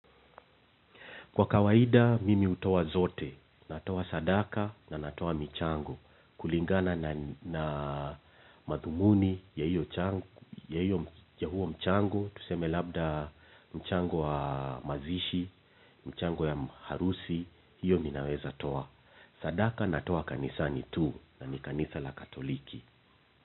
Kwa kawaida, mimi hutoa zote. Natoa sadaka na natoa michango. Kulingana na madhumuni ya huo mchango. Tuseme labda mchango wa mazishi, michango ya harusi. Hiyo mimi naweza toa. Sadaka natoa kanisani tu na ni kanisa la katoliki.